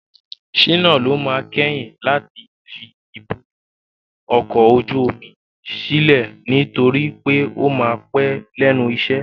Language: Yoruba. Shina ló máa kẹ́yìn láti fi ibùdó ọkọ̀ ojú omi sílẹ̀ nitori pe o máa pẹ́ lẹ́nu iṣẹ́.